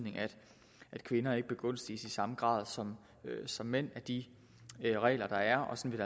at kvinder ikke begunstiges i samme grad som som mænd af de regler der er og sådan